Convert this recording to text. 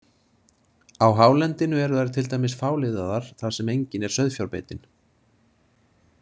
Á hálendinu eru þær til dæmis fáliðaðar þar sem engin er sauðfjárbeitin.